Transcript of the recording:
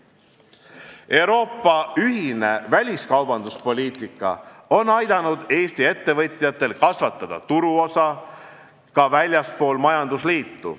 Euroopa ühine väliskaubanduspoliitika on aidanud Eesti ettevõtjatel kasvatada turuosa ka väljaspool majandusliitu.